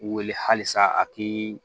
Wele halisa a tɛ